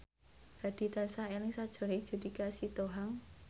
Hadi tansah eling sakjroning Judika Sitohang